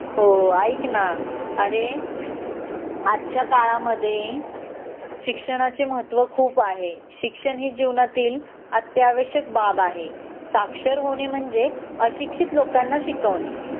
हो अरे ऐक न आजच्या काळामध्ये शिक्षणाचे महत्व खूप आहे शिक्षण ही जीवनातील अत्यावश्यक बाब आहे साक्षर होणे म्हणजे अशिक्षित लोकांना शिकवणे